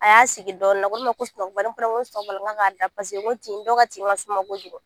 A y'a sigi dɔɔnin na a ko ne a ko n ko tin dɔw ka tin ka suma kojugu